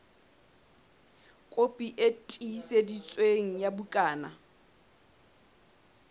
kopi e tiiseditsweng ya bukana